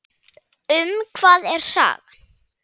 Um hvað er sagan?